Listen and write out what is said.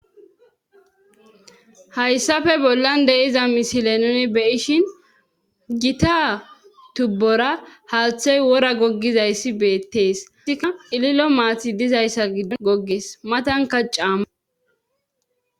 hayssafe bollan de7iza misile nuni beyishin gita tubbora haaththey wora goggizayssi beettees tikka ililo maathi dizayssa giddon goggees matanka caamma